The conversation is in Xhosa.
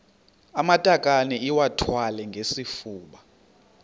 amatakane iwathwale ngesifuba